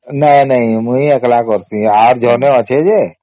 ନାଇଁ ନାଇଁ ମୁଇ ଏକେଲା କରିଛି ଆର ଜଣେ ଅଛେ ଯେ